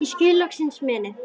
og skil loksins meinið